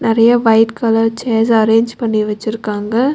நெறைய white colour chairs arrange பண்ணி வெச்சிருக்காங்க.